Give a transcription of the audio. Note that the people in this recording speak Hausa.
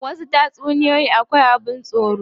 Wasu tatsuniyoyi akwai abin tsoro.